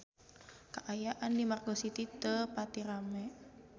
Kaayaan di Margo City teu pati rame